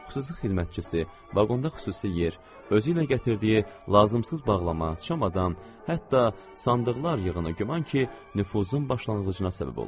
Xüsusi xidmətçisi, vaqonda xüsusi yer, özü ilə gətirdiyi lazımsız bağlama, çamadan, hətta sandıqlar yığını güman ki, nüfuzun başlanğıcına səbəb olmuşdu.